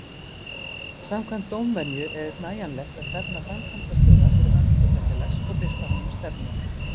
Samkvæmt dómvenju er nægjanlegt að stefna framkvæmdastjóra fyrir hönd hlutafélags og birta honum stefnu.